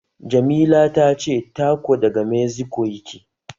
Jamila tace taco daga Meziko yake